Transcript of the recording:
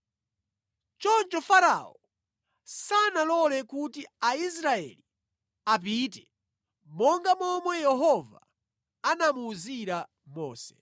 Choncho Farao sanalole kuti Aisraeli apite monga momwe Yehova anamuwuzira Mose.